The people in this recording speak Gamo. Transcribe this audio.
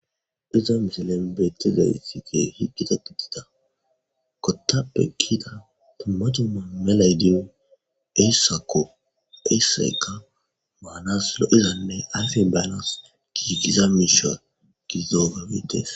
Iza miselembeteza ytti ke hi gita pitita kotappe kita tumacu ma melaydin sakoesaeka maanaslo iza ney afe baalas gigigiza misho gizografetes.